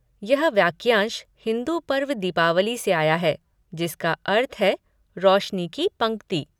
यह वाक्यांश हिंदू पर्व दीपावली से आया है, जिसका अर्थ है 'रोशनी की पंक्ति।'